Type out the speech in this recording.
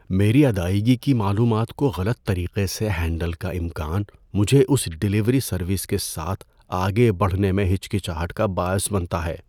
میری ادائیگی کی معلومات کو غلط طریقے سے ہینڈل کا امکان مجھے اس ڈیلیوری سروس کے ساتھ آگے بڑھنے میں ہچکچاہٹ کا باعث بنتا ہے۔